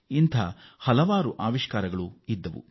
ಇಂಥ ಹಲವು ಸಂಖ್ಯೆಯ ಆವಿಷ್ಕಾರಗಳಿವೆ